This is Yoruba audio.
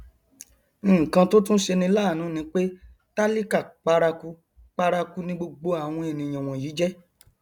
nkan tó tún ṣeni láàánú ni pé tálíkà paraku paraku ni gbogbo àwọn ènìyàn wọnyí jẹ